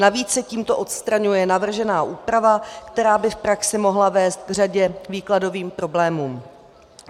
Navíc se tímto odstraňuje navržená úprava, která by v praxi mohla vést k řadě výkladových problémů.